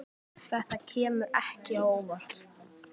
Þetta kemur ekki á óvart.